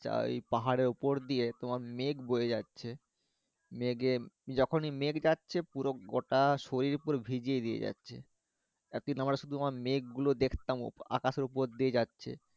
পাহাড়ের উপর দিয়ে তোমার মেঘ বয়ে যাচ্ছে মেঘে যখন ই মেঘ যাচ্ছে পুরো গোটা শরীর পুরো ভিজিয়ে দিয়ে যাচ্ছে একদিন আমরা শুধুমাত্র মেঘ গুলো দেখতাম আকাশের উপর দিয়ে যাচ্ছে ওই